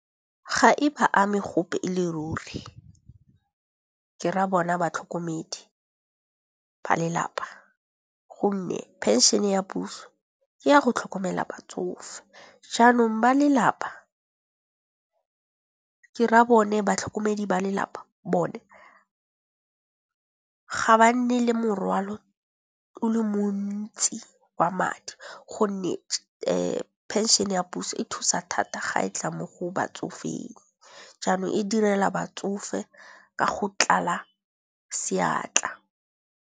Ga e ba ame gope e le ruri ke ra bona batlhokomedi ba lelapa, gonne phenšhene ya puso ke ya go tlhokomela batsofe. Jaanong ba lelapa ke ra bone batlhokomedi ba lelapa bone ga ba nne le morwalo o le montsi wa madi gonne phenšhene ya puso e thusa thata ga e tla mo go batsofeng. Jaanong e direla batsofe ka go tlala seatla.